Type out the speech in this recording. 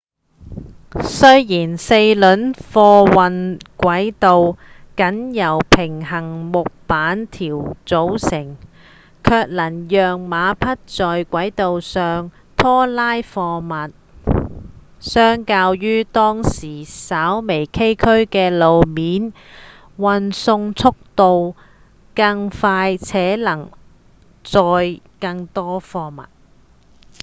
雖然四輪貨運軌道僅由平行木板條組成卻能讓馬匹在軌道上拖拉貨物相較於當時稍微崎嶇的路面運送速度更快且能裝載更多貨物